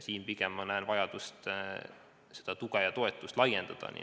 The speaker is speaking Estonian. Siin näen ma pigem vajadust seda tuge laiendada.